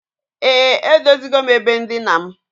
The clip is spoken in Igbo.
E, edozigom ebe ndina m.